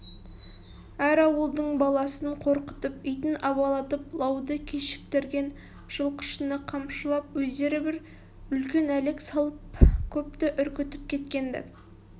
әр ауылдың баласын қорқытып итін абалатып лауды кешіктірген жылқышыны қамшылап өздері бір үлкен әлек салып көпті үркітіп кеткен-ді